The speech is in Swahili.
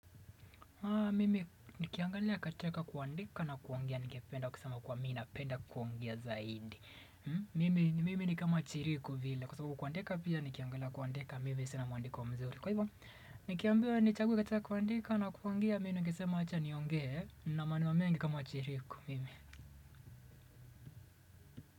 Mimi nikiangalia katika kuandika na kuongea ningependa kusema kuwa mi napenda kuongea zaidi mimi. Mimi ni kama chiriku vile kwa sababu kuandika pia nikiangalia kuandika mimi sina mwandiko mzuri. Kwa hivyo nikiambiwa nichague katika kuandika na kuongea mi ningesema acha niongee nina manua mengi kama chiriku.